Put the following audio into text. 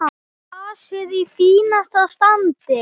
Grasið í fínasta standi.